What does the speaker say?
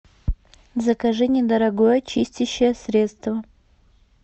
закажи недорогое чистящее средство